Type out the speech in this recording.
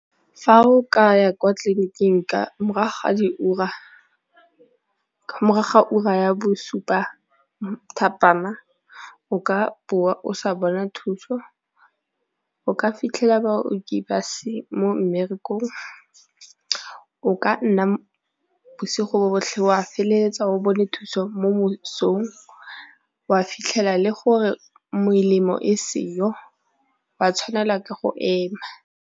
Fa o ka ya kwa tleliniking morago ga diura morago ga ura ya bosupa thapama o ka boa o sa bona thuso, o ka fitlhela baoki ba se mmerekong o ka nna bosigo botlhe wa feleletsa o bone thuso mo mosong wa fitlhela le gore melemo e seyo wa tshwanela ke go ema.